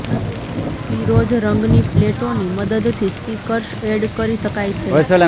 પીરોજ રંગની પ્લેટોની મદદથી સ્પીકર્સ ઍડ કરી શકાય છે